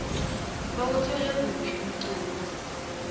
bawuthole kuphi umqobosi